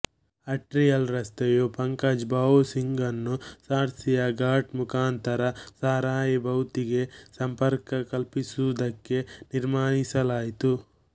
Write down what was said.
ಆರ್ಟಿಯಲ್ ರಸ್ತೆಯು ಪಂಕಜ್ ಭಾವು ಸಿಂಗ್ ಅನ್ನು ಸರ್ಸಿಯಾ ಘಾಟ್ ಮುಖಾಂತರ ಸಾರಾಯಿ ಭೌತಿಗೆ ಸಂಪರ್ಕ ಕಲ್ಪಿಸುವುದಕ್ಕೆ ತೀರ್ಮಾನಿಸಲಾಯಿತು